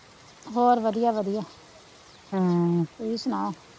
ਹੋਰ ਵਧੀਆ ਵਧੀਆ ਹਮ ਤੁਸੀਂ ਸੁਨਾਓ,